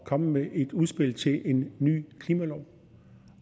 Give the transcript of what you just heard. komme med et udspil til en ny klimalov